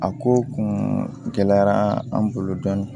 A ko kun gɛlɛyara an bolo dɔɔnin